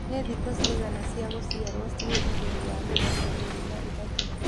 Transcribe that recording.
nĩ thĩkũ cĩĩgana cĩa gũcĩarwo cĩĩ ĩgũrũ wa mĩrongo ĩrĩ na ĩthatũ